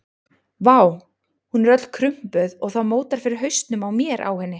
Vá, hún er öll krumpuð og það mótar fyrir hausnum á mér á henni.